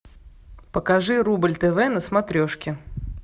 покажи рубль тв на смотрешке